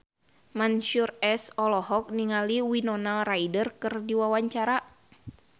Mansyur S olohok ningali Winona Ryder keur diwawancara